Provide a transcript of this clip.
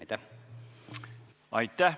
Aitäh!